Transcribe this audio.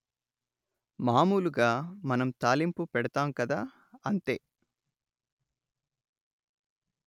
మాములుగా మన తాలింపు పెడతాం కదా అంతే